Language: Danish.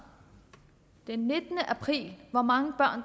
den nittende april hvor mange